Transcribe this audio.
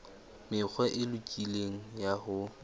mekgwa e lokileng ya ho